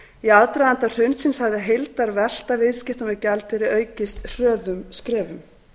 í aðdraganda hrunsins hafði heildarvelta viðskipta með gjaldeyri aukist hröðum skrefum